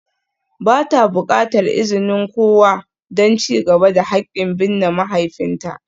Ba ta buƙatar izinin kowa don ci gaba da haƙƙin binne mahaifinta.